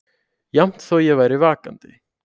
Jafnt þó ég væri vakandi.